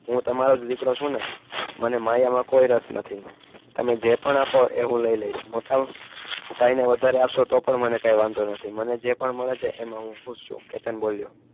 હું તમારોજ દિકરો છૂને મને માયા માં કોઈ રસ નથી તમે જે પણ આપો એ હું લઇ લઈશ મોટા ભાઈને વધારે આપસો તો પણ મને કઈ વાંધો નથી મને જે પણ મળે છે એમાં હું ખૂસ છું કેતન બોલ્યો